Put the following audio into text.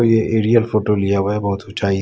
ये aerial photo लिया हुआ है बहुत ऊँचाई --